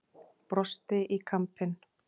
Brosti í kampinn.